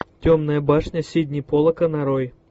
темная башня сидни поллака нарой